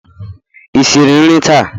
Ị siri nri taa?